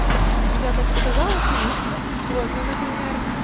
я так сказала конечно вот ну например